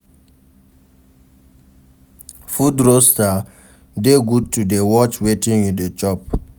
Food roaster de good to de watch wetin you de chop